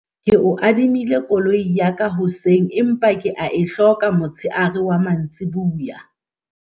Ke o adimile koloi ya ka hoseng empa ke a e hloka motsheare wa mantsiboya.